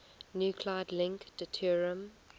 nuclide link deuterium